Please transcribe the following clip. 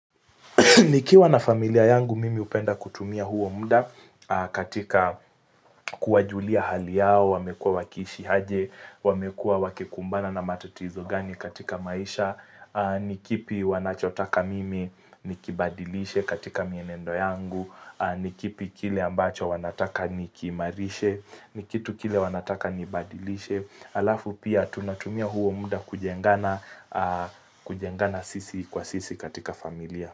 Nikiwa na familia yangu mimi hupenda kutumia huo muda katika kuwajulia hali yao, wamekuwa wakiishi aje, wamekuwa wakikumbana na matatizo gani katika maisha, nikipi wanachotaka mimi nikibadilishe katika mienendo yangu, nikipi kile ambacho wanataka nikiimarishe, nikitu kile wanataka nibadilishe. Halafu pia tunatumia huo muda kujengana kujengana sisi kwa sisi katika familia.